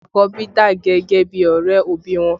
Àkọ́bí dà gẹ́gẹ́ bí ọrẹ òbí wọn